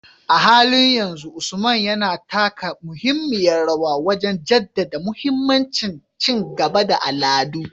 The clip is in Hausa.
A halin yanzu, Usman yana taka muhimmiyar rawa wajen jaddada mahimmancin ci gaban al'adu